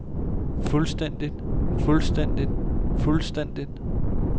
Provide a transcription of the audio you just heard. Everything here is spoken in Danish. fuldstændigt fuldstændigt fuldstændigt